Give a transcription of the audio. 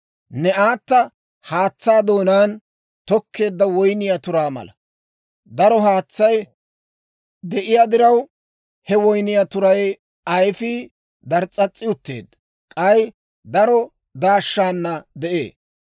« ‹Ne aata haatsaa doonaan, toketteedda woyniyaa turaa mala. Daro haatsay de'iyaa diraw, he woyniyaa turay ayifiyaa dars's'as's'i utteedda; k'ay daro daashana de'ee.